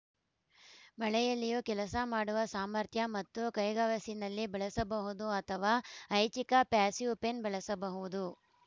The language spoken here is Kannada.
ಮಳೆಯಲ್ಲಿಯೂ ಕೆಲಸ ಮಾಡುವ ಸಾಮರ್ಥ್ಯ ಮತ್ತು ಕೈಗವಸಿನಲ್ಲಿ ಬಳಸಬಹುದು ಅಥವಾ ಐಚ್ಛಿಕ ಪ್ಯಾಸಿವ್‌ ಪೆನ್‌ ಬಳಸಬಹುದು